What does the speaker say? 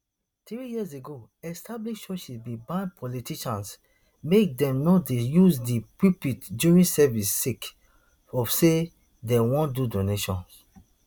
three years ago established churches bin ban politicians make dem no dey use di pulpit during services sake of say dem want do donations